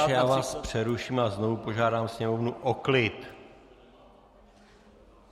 Pane poslanče, já vás přeruším a znovu požádám Sněmovnu o klid.